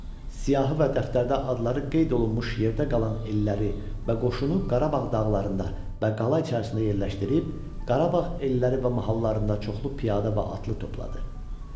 Siyahı və dəftərdə adları qeyd olunmuş yerdə qalan elləri və qoşunu Qarabağ dağlarında və qala içərisində yerləşdirib, Qarabağ elləri və mahallarında çoxlu piyada və atlı topladı.